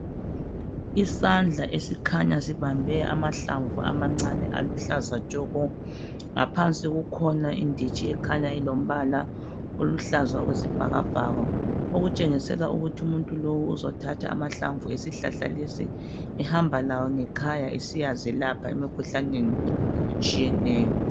Izandla esikhanya sibambe amahlamvu amancane aluhlaza tshoko ngaphansi kukhona inditsji ekhanya ilombala oluhlaza okwesibhakabhaka okutshengisela ukuthi umuntu uzothatha amahlamvu esihlahla lesi ehamba lawo ngekhaya esiyazelapha emikhuhlaneni etshiyeneyo.